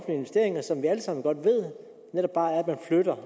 investeringer som vi alle sammen godt ved netop bare er at man flytter